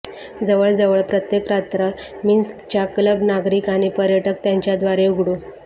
जवळजवळ प्रत्येक रात्र मिन्स्क च्या क्लब नागरिक आणि पर्यटक त्यांच्या दारे उघडू